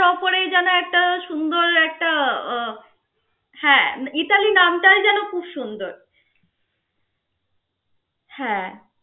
একটা সুন্দর একটা উহ ইতালি নামটাই যেন খুব সুন্দর. হ্যা.